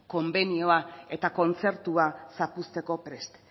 konbenioa eta kontzertua zapuzteko prest